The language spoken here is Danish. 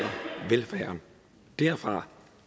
derfra